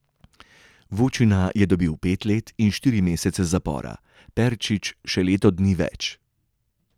Vučina je dobil pet let in štiri mesece zapora, Perčič še leto dni več.